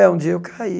É, um dia eu caí.